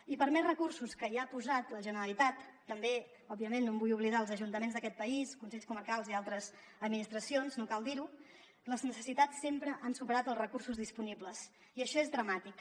i per més recursos que hi ha posat la generalitat també òbviament no em vull oblidar dels ajuntaments d’aquest país consells comarcals i altres administracions no cal dir ho les necessitats sempre han superat els recursos disponibles i això és dramàtic